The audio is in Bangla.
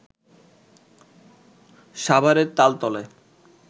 সাভারের তালতলায়